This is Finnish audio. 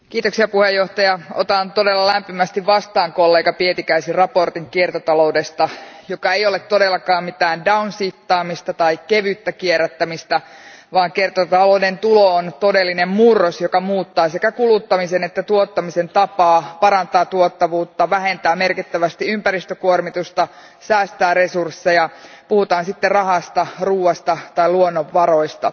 Arvoisa puhemies, otan todella lämpimästi vastaan kollega Pietikäisen mietinnön kiertotaloudesta, joka ei todellakaan ole mitään downshiftaamista tai kevyttä kierrättämistä, vaan kiertotalouden tulo on todellinen murros, joka muuttaa sekä kuluttamisen että tuottamisen tapaa, parantaa tuottavuutta, vähentää merkittävästi ympäristökuormitusta, säästää resursseja, puhutaan sitten rahasta, ruuasta tai luonnonvaroista.